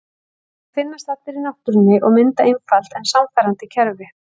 Þeir finnast allir í náttúrunni og mynda einfalt en sannfærandi kerfi.